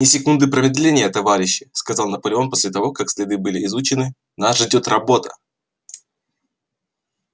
ни секунды промедления товарищи сказал наполеон после того как следы были изучены нас ждёт работа